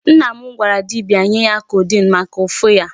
Nna m gwara dibia nye ya codeine maka ụfụ ya.